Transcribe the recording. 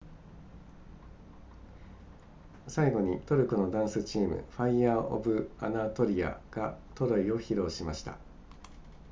最後にトルコのダンスチームファイヤーオブアナトリアがトロイを披露しました